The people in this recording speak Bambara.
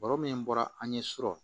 Baro min bɔra an ɲɛ sɔrɔ